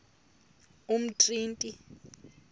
umtriniti